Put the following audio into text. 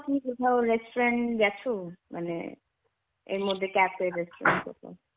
কি কোথাও restaurant এ গেছো মানে এর মধ্যে cafe, restaurant এ .